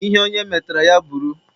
Ihe onye metara, ya bụrụ.